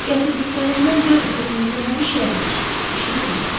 Gətirdiklərimdən görün özünüzə nə bişirə bilirsiz, bişirib yeyin.